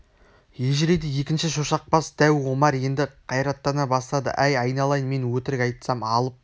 ежірейді екінші шошақ бас дәу омар енді қайраттана бастады әй айналайын мен өтірік айтсам алып